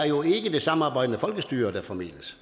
jo ikke er det samarbejdende folkestyre der formidles